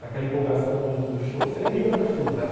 Naquela empolgação do do show, você nem liga para chuva, né?